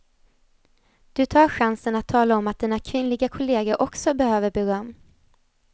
Du tar chansen att tala om att dina kvinnliga kolleger också behöver beröm.